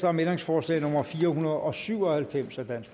om ændringsforslag nummer fire hundrede og syv og halvfems af